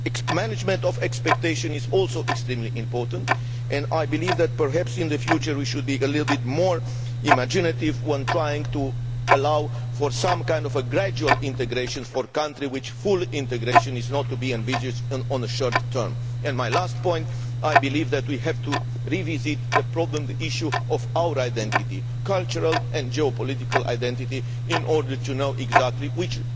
Management of expectations is also extremely important and I believe that perhaps in the future, we should be a little bit more imaginative in trying to allow for some kind of gradual integration of a country for which full integration is not to be envisaged in the short term. My last point is that I believe we have to revisit the problem issue of our identity, our cultural and geopolitical identity, in order to know exactly what